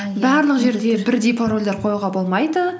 барлық жерде бірдей парольдер қоюға болмайды